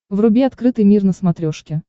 вруби открытый мир на смотрешке